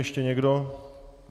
Ještě někdo?